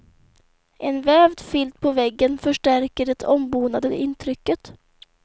En vävd filt på väggen förstärker det ombonade intrycket.